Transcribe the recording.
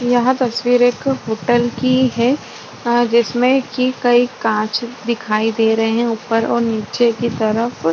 यह तस्वीर एक होटल की है अ जिसमे की कई कांच दिखाई दे रहे है ऊपर और नीचे की तरफ--